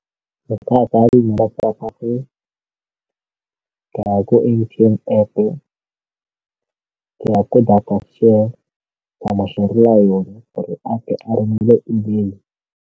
Bothata ke ka ya ko M_T_N App-o, ka ya ko data share, ka mo share-rela yone gore a tle a romele email-e.